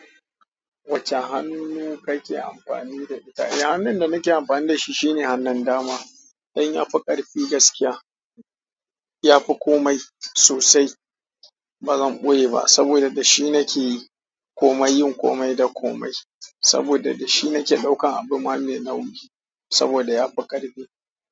Wacce hannu kake amfani da ita? Eh hannun da nake amfani da shi shine hannun dama. Dan ya fi ƙarfi gaskiya. Ya fi komai sosai. Ba zan ɓoye ba saboda da shi nake komai, yin komai da komai. Saboda da shi nake ɗaukan abu ma mai nauyi. Saboda ya fi ƙarfi.